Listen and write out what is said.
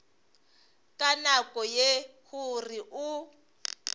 ka nako ye gore o